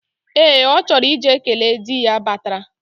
Ee, ochoro ije kele di ya batara.